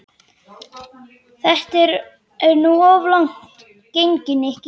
Þetta er nú of langt gengið, Nikki.